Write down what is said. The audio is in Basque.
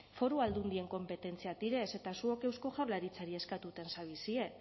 foru aldundien konpetentziak dira eta zuok eusko jaurlaritzari eskatuten zabizie